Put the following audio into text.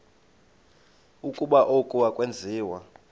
ukuba oku akwenziwa